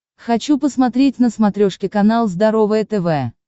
хочу посмотреть на смотрешке канал здоровое тв